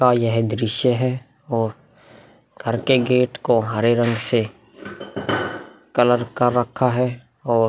का यह दृश्य है और घर के गेट को हरे रंग से कलर कर रखा है और --